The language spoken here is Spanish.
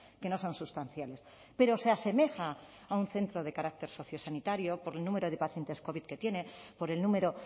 que no son sustanciales pero se asemeja a un centro de carácter sociosanitario por el número de pacientes covid que tiene por el número